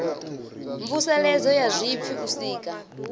mvuseledzo ya zwipfi u sika